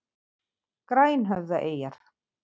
Grænhöfðaeyjar